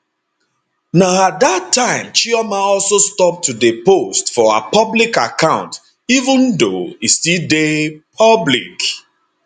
na at dat time chioma also stop to dey post for her public account even though e still dey public